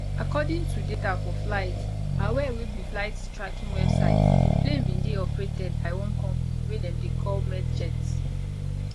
according to data for flight aware wey be flight tracking website di plane bin dey operated by one company wey dem dey call medjets